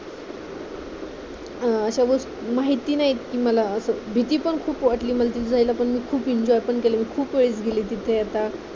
अशावेळेस माहिती नाहीत मला असं भीती पण खूप वाटली मधी जायला पण मी खूप enjoy पण केला मी खूप वेळेस गेली तिथे आता